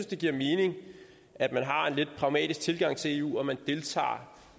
det giver mening at man har en lidt pragmatisk tilgang til eu og at man deltager